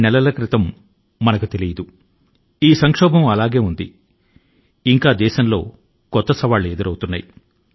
ఒక విపత్తు ఇళ్ల ఉండగా ఇది సరిపోదన్నట్టు దేశం లో రోజురోజు కు అంతులేని సవాళ్లు ఎదురుపడుతూనే ఉన్నాయి